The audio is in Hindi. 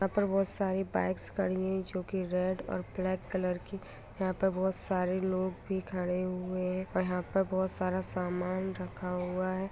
यहा पर सारी बाइक्स खड़ी हुई है जो की रेड और ब्लेक कलर की यहा पर बहुत सारे लोग भि खड़े हुए है यहां पर बहुत सारा सामान रखा हुआ है।